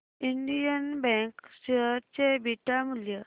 Indian bank share चे beta मूल्य